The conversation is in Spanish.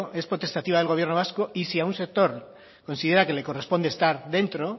es potestativa del gobierno vasco y si a un sector considera que le corresponde estar dentro